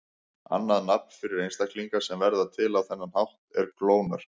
Annað nafn yfir einstaklinga sem verða til á þennan hátt er klónar.